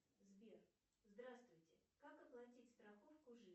сбер здравствуйте как оплатить страховку